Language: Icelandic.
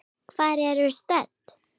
Hvar erum við stödd?